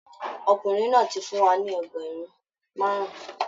Ọkùnrin náà ti fún wa ní ẹgbẹ̀rún márùn-ún